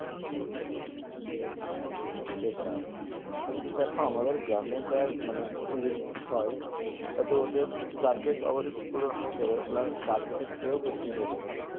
সেটাই কিন্তু দেখো আমাদের গ্রামে যা মানে ভিড় হয় তাতে ওদের target অবশই পূরণ হয়ে যাবে plus target এর চেয়ে ও বেশিই হয়ে যাবে